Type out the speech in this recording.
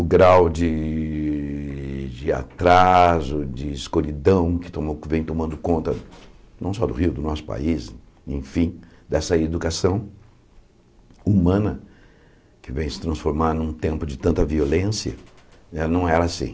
O grau de de atraso, de escuridão que vem tomando conta não só do Rio, do nosso país, enfim, dessa educação humana que vem se transformar num tempo de tanta violência, né não era assim.